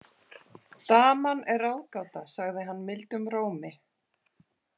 Daman er ráðgáta, sagði hann mildum rómi.